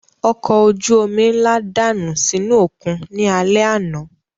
Ọkọ̀ ojú omi ńlá dànù sínú òkun ní alẹ́ àná